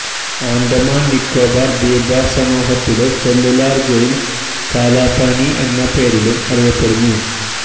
ആന്ഡമന് നിക്കാബാര് ദ്വീപസമൂഹത്തിലെ cellular jail Kalapani എന്ന് പേരിലും അറിയപ്പെടുന്നു